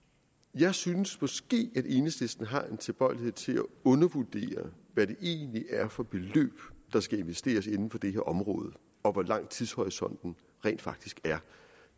jeg synes måske at enhedslisten har en tilbøjelighed til at undervurdere hvad det egentlig er for beløb der skal investeres inden for det her område og hvor lang tidshorisonten rent faktisk er